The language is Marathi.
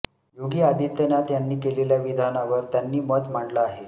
योगी आदित्यनाथ यांनी केलेल्या विधानावर त्यांनी मत मांडलं आहे